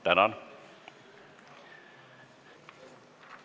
Tänan!